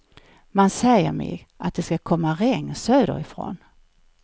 Man säger mig det ska komma regn söder ifrån.